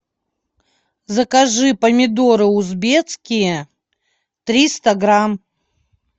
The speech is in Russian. закажи помидоры узбекские триста грамм